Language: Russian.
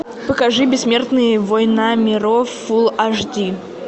покажи бессмертные война миров фулл аш ди